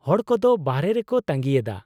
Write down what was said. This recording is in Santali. -ᱦᱚᱲ ᱠᱚᱫᱚ ᱵᱟᱨᱦᱮ ᱨᱮᱠᱚ ᱛᱟᱹᱜᱤᱭᱮᱫᱟ ᱾